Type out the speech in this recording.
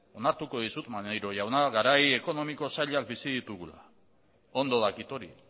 onartuko dizut maneiro jauna garai ekonomiko zailak bizi ditugula ondo dakit hori